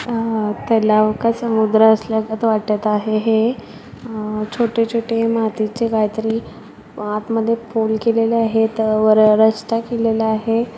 अह तलाव का समुद्र असल्यागत वाटत आहे हे अह छोटे छोटे मातीचे काहीतरी अ आत मध्ये पोल केलेले आहेत वर अ रस्ता केलेला आहे.